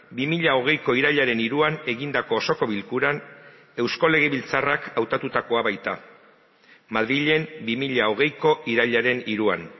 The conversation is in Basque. bi mila hogeiko irailaren hiruan egindako osoko bilkuran eusko legebiltzarrak hautatutakoa baita madrilen bi mila hogeiko irailaren hiruan